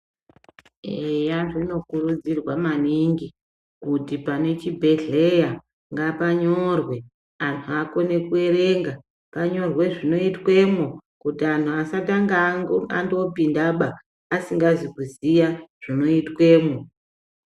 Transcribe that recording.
Eya zvinokurudzirwa maningi kuti pane chibhedhleya ngapanyorwe antu akone kuerenga panyorwe zvinoitwemwo kuti antu asatanga andopindaba asingazi kuziya zvinoitwemwo.